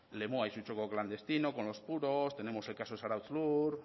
lemoa y su choco clandestino con los puros tenemos el caso zarautz lur